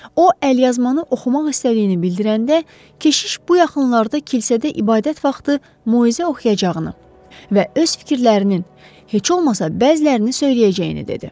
O əlyazmanı oxumaq istədiyini bildirəndə, keşiş bu yaxınlarda kilsədə ibadət vaxtı moizə oxuyacağını və öz fikirlərinin heç olmasa bəzilərini söyləyəcəyini dedi.